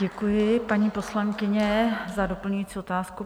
Děkuji, paní poslankyně, za doplňující otázku.